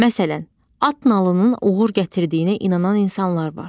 Məsələn, at nalının uğur gətirdiyinə inanan insanlar var.